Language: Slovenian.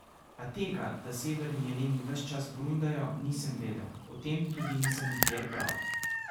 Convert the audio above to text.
A tega, da severni jeleni ves čas brundajo, nisem vedel, o tem tudi nisem nikjer bral.